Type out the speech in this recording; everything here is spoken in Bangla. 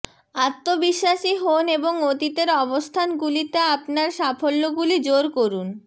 আত্মবিশ্বাসী হোন এবং অতীতের অবস্থানগুলিতে আপনার সাফল্যগুলি জোর করুন